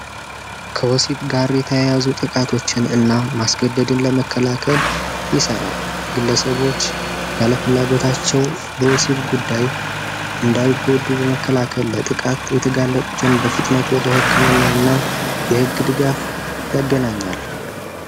ወሲብ ጋር የተያያዙ ጥቃቶችን እና ማስገደድ ለመከላከል ይሰራል ግለሰብ ልጆች ያለፍላጎታቸው በወሲብ ጉዳይ የተጋለጡትን ድጋፍ ለማድረግ ወደ ህክምና እና የህግ ድጋፍ ያገናኛል።